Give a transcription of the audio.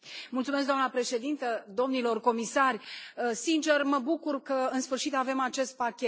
Doamnă președintă, domnilor comisari, sincer mă bucur că în sfârșit avem acest pachet.